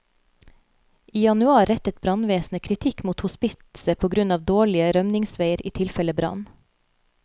I januar rettet brannvesenet kritikk mot hospitset på grunn av dårlige rømningsveier i tilfelle brann.